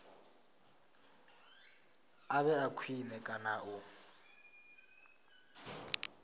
a vhe khwine kana u